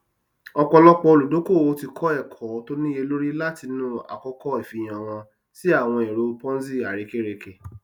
ọpọlọpọ olùdókòwò ti kọ ẹkọ tó níyelori látinú àkọkọ ìfihàn wọn sí àwọn èrò ponzi àrekèrèke